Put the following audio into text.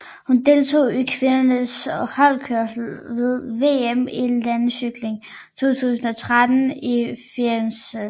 Hun deltog i kvindernes holdkørsel ved VM i landevejscykling 2013 i Firenze